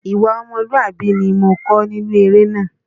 Ìwà ọmọlúwàbí ni mo kọ́ nínú eré náà.